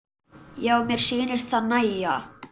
Já, mér sýnist það nægja!